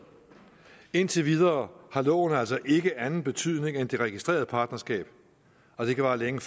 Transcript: indtil videre har loven altså ikke anden betydning end det registrerede partnerskab og det kan vare længe